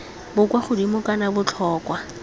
bo kwa godimo kana botlhokwa